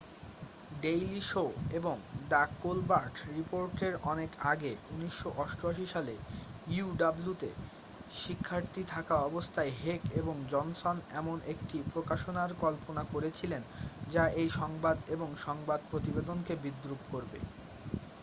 daily show এবং the Colbert রিপোর্টের অনেক আগে 1988 সালে uw তে শিক্ষার্থী থাকা অবস্থায় হেক এবং জনসন এমন একটি প্রকাশনার কল্পনা করেছিলেন যা এই সংবাদ এবং সংবাদ প্রতিবেদনকে বিদ্রূপ করবে